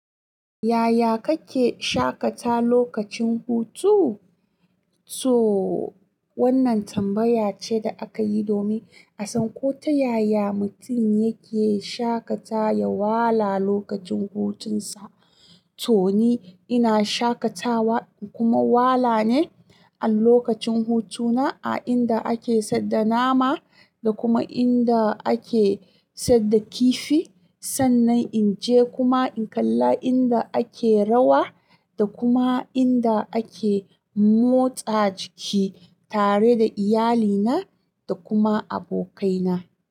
Yaya kake shaƙata lokacin hutu? So wannan tambaya ce da aka yi domin a san ko ta yaya mutum yake shaƙata da wala lokacin hutunsa. To ni ina shaƙatawa kuma wala ne a lokacin hutuna a inda ake sadda nama da kuma inda ake sadda kifi. Sannan in je kuma in kalla inda ake rawa da kuma inda ake motsa jiki tare da iyalina da kuma abokaina.